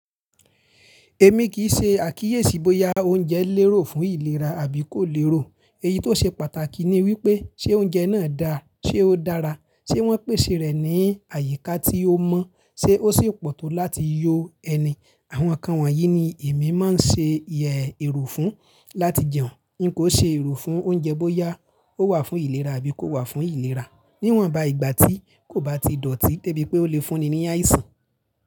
Èmi kì í ṣe àkíyèsí bóya oúnjẹ lérò fún ìlera àbí kò lérò. Eyí tó ṣe pàtàkì ni wípé, ṣé oúnjẹ náà dà? Ṣé ó dára? Ṣé wọ́n pèsè rẹ̀ ní àyíká tí ó mọ́? Ṣé ó sì pọ̀ tó láti yo ẹni? Àwọn ǹkan wọ̀nyí ni èmi máa ń ṣe yẹ ero fún láti jẹun. Nkó ṣe ero fún oúnjẹ bóyá ó wà fún ìlera àbí kò wà fún ìlera. Níwọ̀nba ìgbà tí kò bá ti dọ̀tí, de bí pé ó le fún ni ní àìsàn.